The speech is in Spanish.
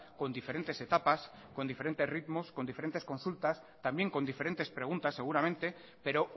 con diferentes etapas con diferentes ritmos con diferentes consultas también con diferentes preguntas seguramente pero